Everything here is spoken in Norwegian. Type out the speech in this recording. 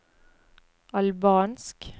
albansk